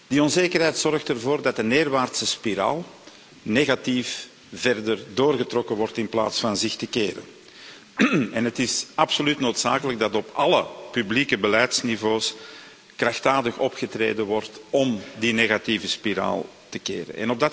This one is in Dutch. Die onzekerheid zorgt ervoor dat de neerwaartse spiraal negatief doorgetrokken wordt in plaats van zich te keren, en het is absoluut noodzakelijk dat op alle publieke beleidsniveaus krachtdadig opgetreden wordt om die negatieve spiraal te keren.